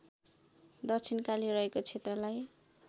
दक्षिणकाली रहेको क्षेत्रलाई